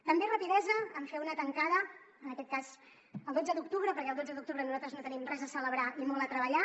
també rapidesa en fer una tancada en aquest cas el dotze d’octubre perquè el dotze d’octubre nosaltres no tenim res a celebrar i molt a treballar